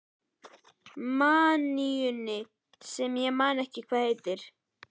maníunni sem ég man ekki hvað heitir.